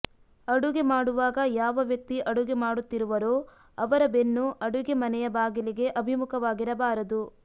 ಅಡುಗೆ ಮಾಡುವಾಗ ಯಾವ ವ್ಯಕ್ತಿ ಅಡುಗೆ ಮಾಡುತ್ತಿರುವರೋ ಅವರ ಬೆನ್ನು ಅಡುಗೆ ಮನೆಯ ಬಾಗಿಲಿಗೆ ಅಭಿಮುಖವಾಗಿರಬಾರದು